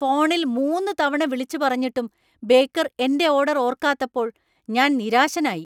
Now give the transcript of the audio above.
ഫോണിൽ മൂന്ന് തവണ വിളിച്ച് പറഞ്ഞിട്ടും ബേക്കർ എന്‍റെ ഓർഡർ ഓർക്കാത്തപ്പോൾ ഞാൻ നിരാശനായി.